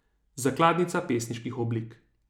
Zakladnica pesniških oblik.